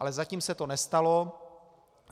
Ale zatím se to nestalo.